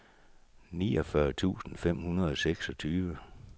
niogfyrre tusind fem hundrede og seksogtyve